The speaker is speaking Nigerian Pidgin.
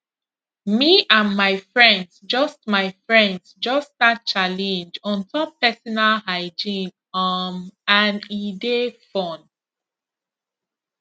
me and my friends just my friends just start challenge on top personal hygiene um and e dey fun